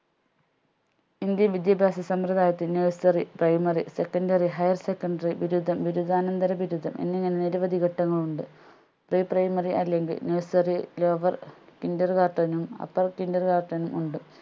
indian വിദ്യാഭ്യാസ സമ്പ്രദായത്തിന് nurseryprimarysecondaryhigher secondary ബിരുദം ബിരുദാനന്തര ബിരുദം എന്നിങ്ങനെ നിരവധി ഘട്ടങ്ങളുണ്ട് pre primary അല്ലെങ്കിൽ nurserylowerkindergarten നും upper kindergarten നും ഉണ്ട്